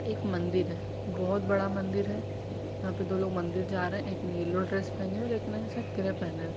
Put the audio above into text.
एक मंदिर है। बोहोत बड़ा मंदिर है। यहाँ पे दो लोग मंदिर जा रहे हैं एक ने येलो ड्रेस पहनी है और एक ने शायद ग्रे पहना है।